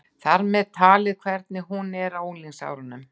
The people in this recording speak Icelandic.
Þar með talið hvernig hún er á unglingsárunum.